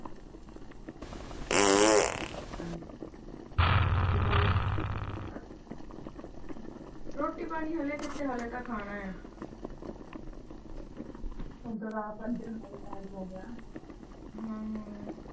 ਹੋਰ ਰੋਟੀ ਪਾਣੀ, ਰੋਟੀ ਪਾਣੀ ਹੱਲੇ ਕਿਥੇ, ਹੱਲੇ ਤਾਂ ਖਾਣਾ ਆ ਓਦਾਂ ਤਾਂ ਆਪ ਬੰਦੇ ਦਾ ਟਾਇਮ ਹੋਗਿਆ। ਹਾਂ ਹਾਂ ।